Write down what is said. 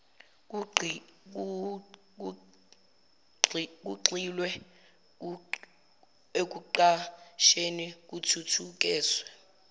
kugxilwe ekuqasheni kuthuthukiswe